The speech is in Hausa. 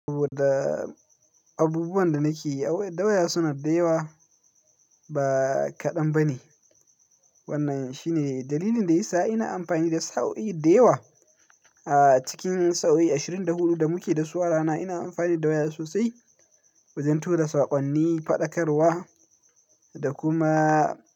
Abubuwan da nake da waya suna da yawa ba kaɗan ba ne. Wannan shine dalilin da yasa ina amfani da sa'o'i da yawa. Cikin sa'o'i ashirin da huɗu da muke da su a rana ina amfani da waya sosai wajen tura saƙonni, faɗakarwa da kuma.